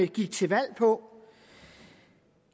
gik til valg på